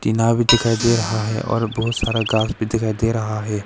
नाव भी दिखाई दे रहा है और बहुत सारा घास भी दिखाई दे रहा है।